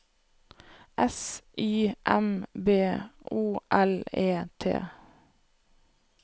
S Y M B O L E T